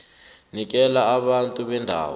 nikela abantu bendawo